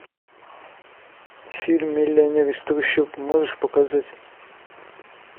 фильм миллионер из трущоб можешь показать